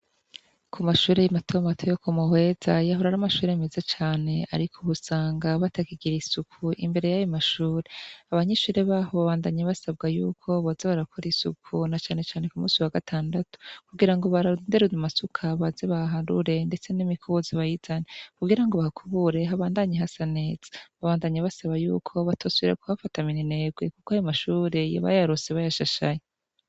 Ku mashure matomato yo ku Muhweza yahora ari amashure meza cane, ariko, ubu usanga batakigira isuku imbere y'ayo mashure, abanyeshure baho babandanya basabwa yuko boza barakora isuku na canecane ku musi wa gatandatu kugira ngo barondere amasuka baze baharure, ndetse n'imikubuzo bayizane kugira ngo bahakubure habandanye hasa neza, babandanya basaba yuko batosubira kuhafata minenerwe, kuko ayo mashure bayaronse bayashashaye.